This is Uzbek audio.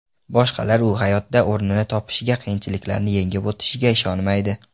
Boshqalar u hayotda o‘rnini topishiga, qiyinchiliklarni yengib o‘tishiga ishonmaydi.